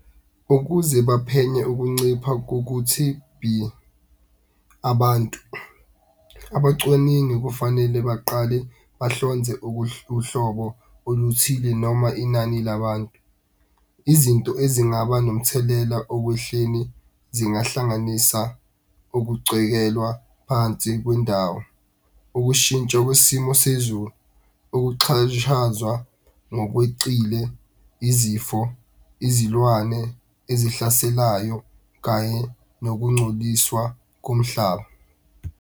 Ukuze baphenye ukuncipha , abantu abacwaningi kufanele baqale bahlonze uhlobo oluthile noma inani labantu. Izinto ezingaba nomthelela okwehleni zingahlanganisa okucwekelwa phansi kwendawo. Ukushintsha kwesimo sezulu, ukuxhashazwa ngokwecile izifo, izilwane ezihlaselayo kanye nokungcoliswa komhlaba.